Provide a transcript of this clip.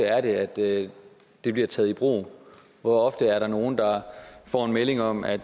er det at det bliver taget i brug hvor ofte er der nogle der får en melding om at